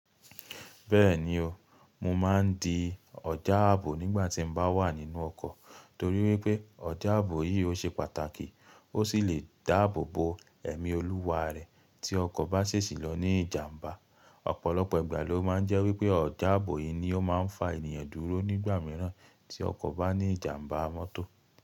Bẹ́ẹ̀ni o, mo máa ń di ọ̀já ààbò nígbà tí mo bá wà nínú ọkọ̀ torí wípé ọ̀já ààbò yìí ó ṣe pàtàkì ó sì lè dáàbò bo ẹ̀mí olúwa rẹ̀ tí ọkọ̀ bá sesì lọ ní ìjàmbá. Ọ̀pọ̀lọpọ̀ ìgbà ló máa ń jẹ́ wípé ọ̀já ààbò yìí ni ó máa ń fa ènìyàn dúró nígbà mìíràn tí ọkọ̀ bá ní ìjàmbá mọ́tò.